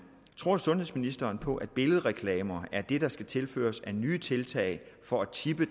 tror sundhedsministeren på at billedreklamer er det der skal tilføres af nye tiltag for at tippe